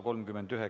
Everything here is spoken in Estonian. Kohtumiseni homme!